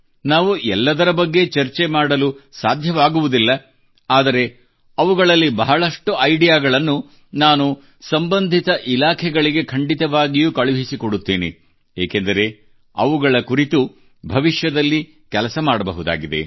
ನಾವು ಎಲ್ಲದರ ಬಗ್ಗೆ ಚರ್ಚೆ ಮಾಡಲು ಸಾಧ್ಯವಾಗುವುದಿಲ್ಲ ಆದರೆ ಅವುಗಳಲ್ಲಿ ಬಹಳಷ್ಟು ಐಡಿಯಾಗಳನ್ನು ನಾನು ಸಂಬಂಧಿತ ಇಲಾಖೆಗಳಿಗೆ ಖಂಡಿತವಾಗಿಯೂ ಕಳುಹಿಸಿಕೊಡುತ್ತೇನೆ ಏಕೆಂದರೆ ಅವುಗಳ ಕುರಿತು ಭವಿಷ್ಯದಲ್ಲಿ ಕೆಲಸ ಮಾಡಬಹುದಾಗಿದೆ